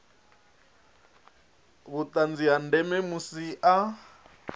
vhuṱanzi ha ndeme musi a